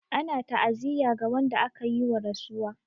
Ana ta'aziyya ga wanda aka yi wa rasuwa.